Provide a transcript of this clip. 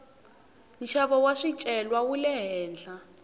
nxavo wa swicelwa wule henhla